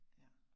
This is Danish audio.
Ja